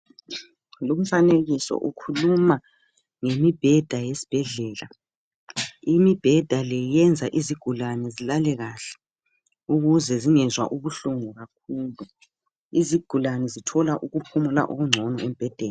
Lumfanekiso ukhuluma ngemibheda yesibhedlela. Imibheda le yenza izigulane zilale kahle, ukuze zingezwa ubuhlungu kakhulu. Izigulane zithola ukuphumula okungcono embhedeni.